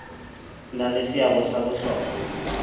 na le seabo sa bohlokwa